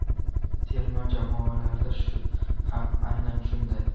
Terma jamoalarda ham aynan shunday.